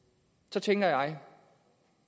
så tænker jeg